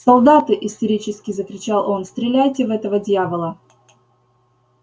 солдаты истерически закричал он стреляйте в этого дьявола